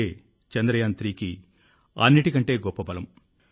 ఇదే చంద్రయాన్3 కి అన్నింటికంటే గొప్ప బలం